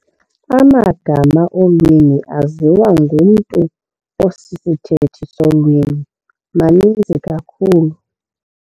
Amagama olwimi aziwa ngumntu osisithethi solwimi maninzi kakhulu.